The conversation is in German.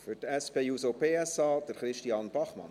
Für die SP-JUSO-PSA, Christian Bachmann.